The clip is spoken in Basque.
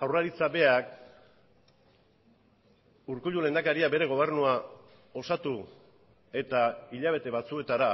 jaurlaritzak berak urkullu lehendakaria bere gobernua osatu eta hilabete batzuetara